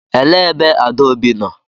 Elee ebe Adaobi nọ?